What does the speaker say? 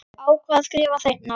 Ákvað að skrifa seinna.